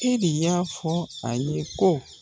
ELI y'a fɔ a ye ko.